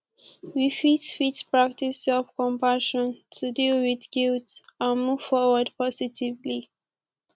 we fit fit practice selfcompassion to deal with guilt and move forward positively